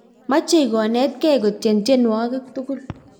mechei konetgei kutyen tyenwogik tigul